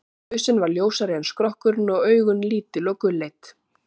hausinn var ljósari en skrokkurinn og augun lítil og gulleit